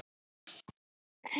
Ung og falleg.